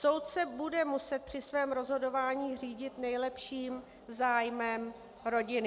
Soud se bude muset při svém rozhodování řídit nejlepším zájmem rodiny.